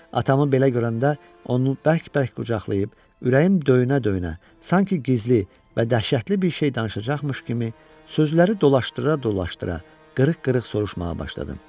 Atamı belə görəndə onu bərk-bərk qucaqlayıb, ürəyim döyünə-döyünə, sanki gizli və dəhşətli bir şey danışacaqmış kimi, sözləri dolaşdıra-dolaşdıra qırıq-qırıq soruşmağa başladım.